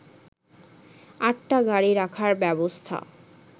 আটটা গাড়ি রাখার ব্যবস্থা